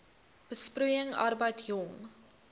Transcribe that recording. besproeiing arbeid jong